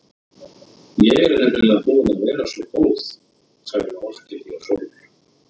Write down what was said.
Ég er nefnilega búin að vera svo góð, sagði Orkídea Sól.